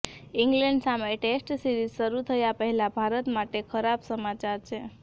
England સામે test series શરૂ થયા પહેલા ભારત માટે ખરાબ સમાચાર છે